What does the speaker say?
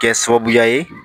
Kɛ sababuya ye